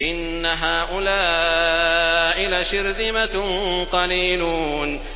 إِنَّ هَٰؤُلَاءِ لَشِرْذِمَةٌ قَلِيلُونَ